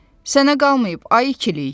Sənə qalmayıb, ay ikilik.